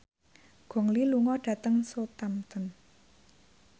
Gong Li lunga dhateng Southampton